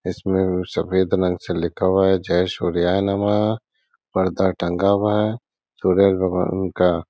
इसमें वो सफ़ेद रंग से लिखा हुआ है जय सूर्याय नमः पर्दा टंगा हुआ है। सूर्य भगबान का।